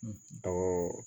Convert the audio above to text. dɔgɔ